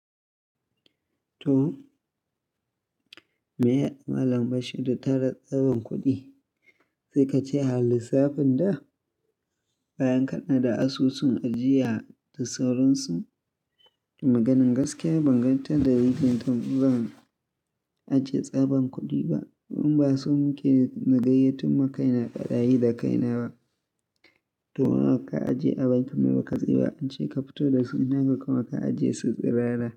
To! Me Mallam Bashir da ta na tsaban kuɗi, sai ka ce a lissafin da? Bayan ka naɗa asusun ajiya da sauransu. Da maganan gaskiya ban gan ta darajar da zan ajiye tsaban kuɗi ba. Domin ba so muke nagayatto ma kaina barayi da kai na ba. To, nawa ka ajiye a bankin mai baƙaɗi ba, an ce ka fito da su ina kuma ka ajiye su tsirara.